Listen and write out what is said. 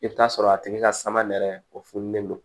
I bɛ t'a sɔrɔ a tigi ka sama nɛrɛ o fununen don